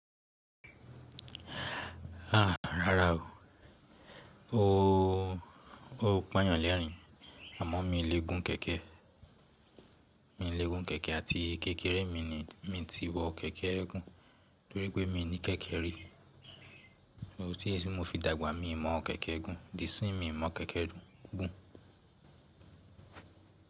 A, rárá o. Ó pa yàn lerin, àmọ́ mi lè gún kẹ̀kẹ́. Mi lè gún kẹ̀kẹ́ àti kékeré mi ni mi ti wọ kẹ̀kẹ́ gún torí pé mi ní kẹ̀kẹ́ rí. Ti mo fi dàgbà mi mọ̀ ọ kẹ̀kẹ́ gún di isín mi mọ̀ kẹ̀kẹ́ gún.